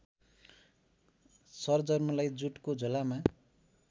सर्जमलाई जुटको झोलामा